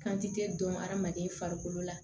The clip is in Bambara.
Kantikɛ dɔn adamaden farikolo la